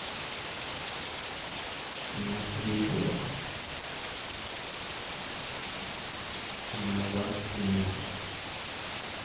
снять видео на двадцать минут